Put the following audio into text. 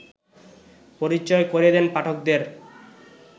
পরিচয় করিয়ে দেন পাঠকদের